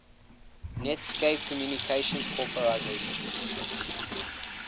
netscape communications corporation